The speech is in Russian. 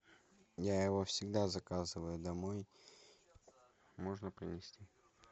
я его всегда заказываю домой можно принести